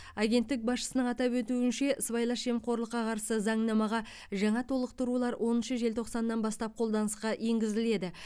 агенттік басшысының атап өтуінше сыбайлас жемқорлыққа қарсы заңнамаға жаңа толықтырулар оныншы желтоқсаннан бастап қолданысқа енгізіледі